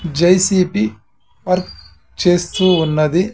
JCB work చేస్తూ ఉన్నది.